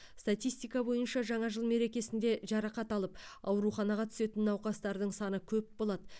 статистика бойынша жаңа жыл мерекесінде жарақат алып ауруханаға түсетін науқастардың саны көп болады